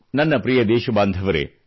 ನನ್ನ ಪ್ರಿಯ ದೇಶಬಾಂಧವರೆ